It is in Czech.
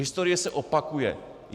Historie se opakuje.